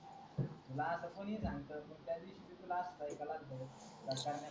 तू ला अस कोणी सांगत त्या दिवशी भी तुला अस चा ऐक्यायला आलत